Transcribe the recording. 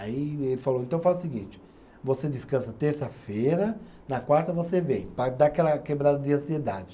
Aí ele falou, então faz o seguinte, você descansa terça-feira, na quarta você vem, para dar aquela quebrada de ansiedade.